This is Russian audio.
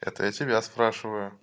это я тебя спрашиваю